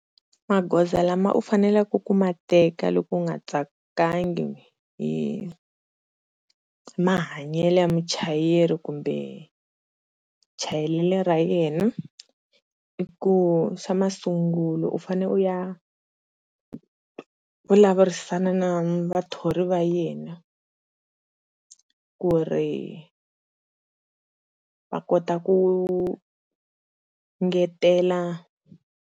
Magoza lama u faneleke ku ma teka loko u nga tsakangi hi mahanyele ya muchayeri kumbe chayelelo ra yena. Xa masungulo u fane u ya vulavurisana na vathori va yena ku ri va kota ku ngetela.